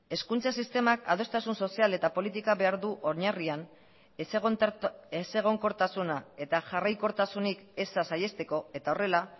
hezkuntza sistemak adostasun sozial eta politika behar du oinarrian ezegonkortasuna eta jarraikortasunik eza saihesteko eta horrela